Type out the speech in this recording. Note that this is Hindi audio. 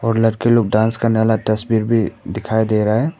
और लड़के लोग डांस करने वाला तस्वीर भी दिखाई दे रहा है।